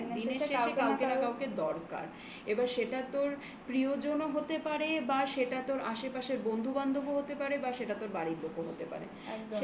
চালাতে হয়. হ্যাঁ দিনের শেষে আমাকে না কাউকে দরকার. এবার সেটা তোর প্রিয়জন ও হতে পারে বা সেটা তোর আশেপাশের বন্ধু বান্ধবও হতে পারে বা সেটা তোর বাড়ির লোকও হতে পারে